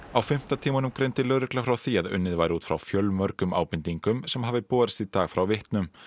á fimmta tímanum greindi lögregla frá því að unnið væri út frá fjölmörgum ábendingum sem hafi borist í dag frá vitnum